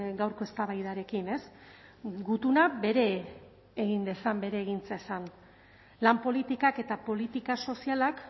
gaurko eztabaidarekin ez gutuna bere egin dezan bere egin zezan lan politikak eta politika sozialak